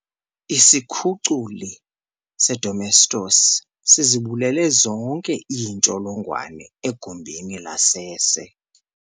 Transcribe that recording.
Isikhuculi sedomestos sizibulele zonke iintsholongwane egumbini lasese.